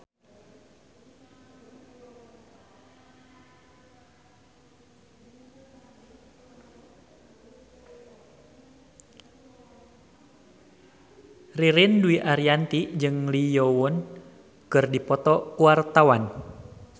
Ririn Dwi Ariyanti jeung Lee Yo Won keur dipoto ku wartawan